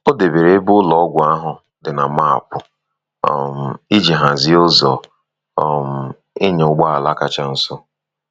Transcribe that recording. O debere ebe ụlọọgwụ ahụ dị na maapụ um iji hazie ụzọ um ịnya ụgbọ ala kacha ọsọ.